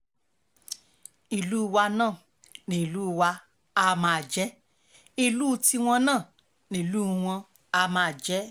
ìlú wa náà nílùú wa àá máa jẹ́ ìlú tiwọn náà nílùú wọn àá máa jẹ́